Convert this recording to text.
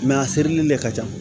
a serili de ka ca